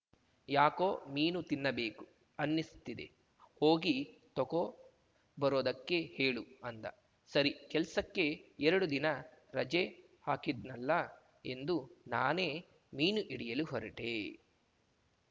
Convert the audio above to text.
ಯಾಕೋ ಮೀನು ತಿನ್ನಬೇಕು ಅನ್ನಿಸ್ತಿದೆ ಹೋಗಿ ತಕೋ ಬರೋದಕ್ಕೆ ಹೇಳು ಅಂದ ಸರಿ ಕೆಲ್ಸಕ್ಕೆ ಎರಡು ದಿನ ರಜೆ ಹಾಕಿದ್ದೆನ್ನಲ್ಲ ಎಂದು ನಾನೇ ಮೀನು ಹಿಡಿಯಲು ಹೊರಟೇ